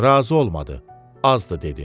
Razı olmadı, azdı dedi.